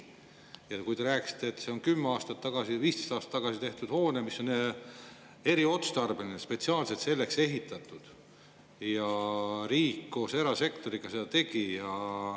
Ja te rääkisite, et see 10 aastat tagasi või 15 aastat tagasi ehitatud hoone, mis on eriotstarbeline, spetsiaalselt selleks ehitatud, koos erasektoriga.